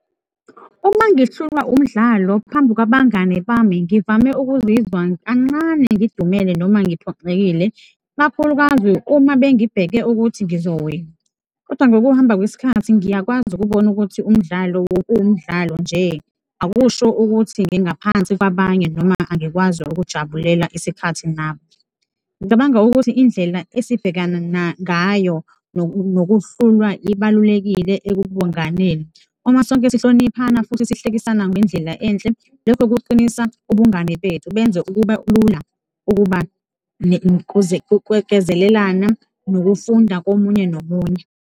Uma ngihlulwa umdlalo phambi kwabangani bami, ngivame ukuzizwa kancane ngidumele noma ngiphoxekile, ikakhulukazi uma bengibheke ukuthi ngizogwina kodwa ngokuhamba kwesikhathi ngiyakwazi ukubona ukuthi umdlalo uwumdlalo nje, akusho ukuthi ngingaphansi kwabanye noma angikwazi ukujabulela isikhathi nabo. Ngicabanga ukuthi indlela esibhekana ngayo nokuhlulwa ibalulekile ebunganeni, uma sonke sihloniphana futhi sihlekisana ngendlela enhle, lokho kuqinisa ubungani bethu, benza ukuba lula ukwekezelelana nokufunda komunye nomunye.